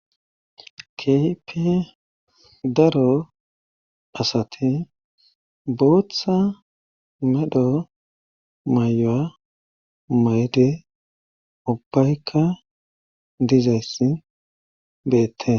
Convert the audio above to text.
Kehippe daro asate booththa medho may7o7a mayde ubbaykka dizayssi beettes